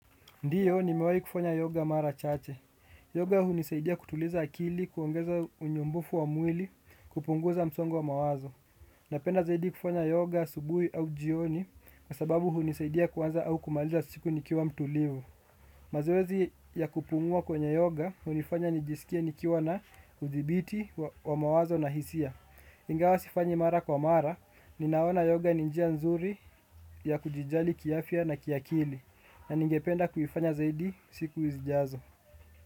Ndiyo nimewahi kufanya yoga mara chache. Yoga hunisaidia kutuliza akili, kuongeza unyumbufu wa mwili, kupunguza msongo wa mawazo. Napenda zaidi kufanya yoga asubuhi au jioni kwa sababu hunisaidia kuanza au kumaliza siku nikiwa mtulivu. Mazoezi ya kupumua kwenye yoga hunifanya nijisikie nikiwa na udhibiti wa mawazo na hisia. Ingawa sifanyi mara kwa mara, ninaona yoga ni njia nzuri ya kujijali kiafya na kiakili. Na ningependa kuifanya zaidi siku zijazo.